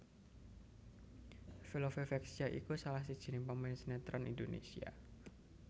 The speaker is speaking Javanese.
Velove Vexia iku salah sijiné pemain sinetron Indonésia